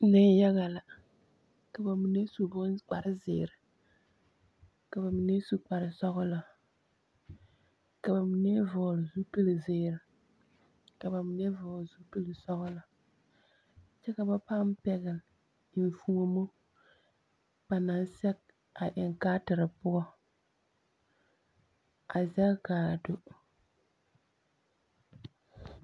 Neŋyaga la, ka ba mine su boŋ kpare zeere, ka ba mine su kpare sͻgelͻ, ka ba mine vͻgele zupili zeere ka ba mine vͻgele zupili sͻgelͻ, kyԑ ka bap aa pԑgele enfuomo ba naŋ sԑge a eŋ kaatere poͻ, a zԑge ka a do.